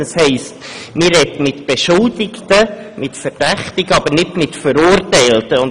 Das heisst, man spricht mit Beschuldigten, mit Verdächtigen, aber nicht mit Verurteilten.